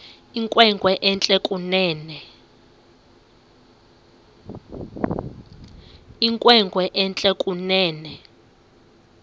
inkwenkwe entle kunene